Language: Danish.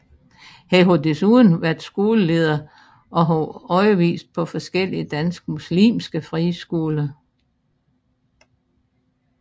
Han har desuden været skoleleder og har undervist på forskellige danske muslimske friskoler